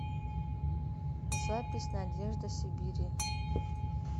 запись надежда сибири